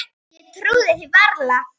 Ég trúði því varla.